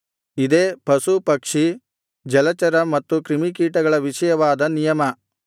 ಇದೇ ಪಶು ಪಕ್ಷಿ ಜಲಚರ ಮತ್ತು ಕ್ರಿಮಿಕೀಟಗಳ ವಿಷಯವಾದ ನಿಯಮ